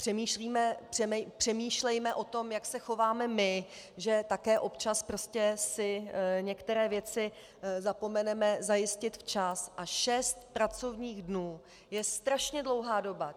Přemýšlejme o tom, jak se chováme my, že také občas prostě si některé věci zapomeneme zajistit včas, a šest pracovních dnů je strašně dlouhá doba.